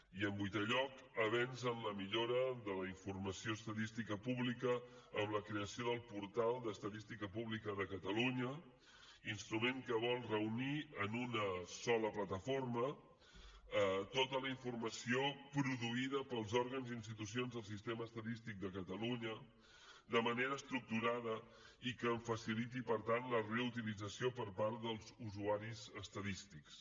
i en vuitè lloc avenç en la millora de la informació estadística pública amb la creació del portal d’estadística pública de catalunya instrument que vol reunir en una sola plataforma tota la informació produïda pels òrgans i institucions del sistema estadístic de catalunya de manera estructurada i que en faciliti per tant la reutilització per part dels usuaris estadístics